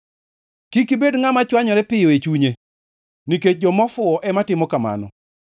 Kik ibed ngʼama chwanyore piyo e chunye; nikech joma ofuwo ema timo kamano.